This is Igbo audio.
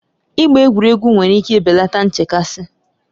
Ịgba egwuregwu nwere ike belata nchekasị.